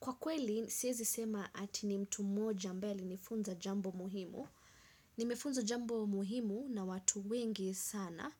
Kwa kweli, siwezi sema ati ni mtu mmoja ambaye alinifunza jambo muhimu. Nimefunzwa jambo muhimu na watu wengi sana.